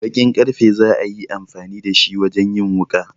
Bakin karfe za a yi amfani da shi wajen yin wuƙa.